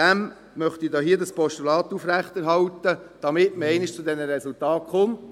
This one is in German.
Ich möchte dieses Postulat aufrechterhalten, damit man einmal zu diesen Resultaten kommt.